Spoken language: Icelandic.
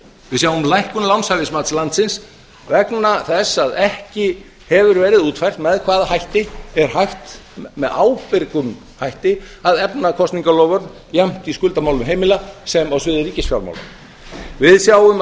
við sjáum lækkun lánshæfismats landsins vegna þess að ekki hefur verið útfært með hvaða hætti er hægt með ábyrgum hætti að efna kosningaloforð jafnt í skuldamálum heimila sem á sviði ríkisfjármála við sjáum að